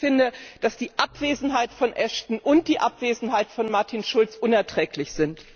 Ich finde, dass die Abwesenheit von Ashton und die Abwesenheit von Martin Schulz unerträglich sind.